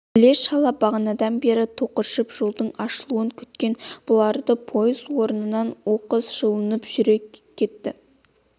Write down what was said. іле-шала бағанадан бері тықыршып жолдың ашылуын күткен бұлардың пойыз орнынан оқыс жұлқынып жүріп кеткен